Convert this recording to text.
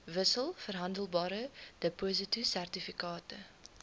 wissels verhandelbare depositosertifikate